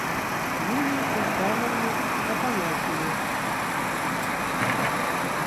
юлию султановну афанасьеву